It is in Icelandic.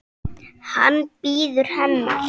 Hann bíður hennar.